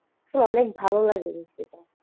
এসব অনেক ভালো লাগে বিষয়টা।